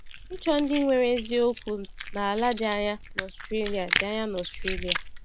Ịchọ Ndị Nwere Ezi Okwu n’ala dị anya n’Australia dị anya n’Australia